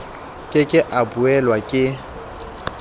ke ke a buellwa ke